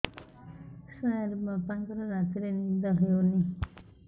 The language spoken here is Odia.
ସାର ବାପାଙ୍କର ରାତିରେ ନିଦ ହଉନି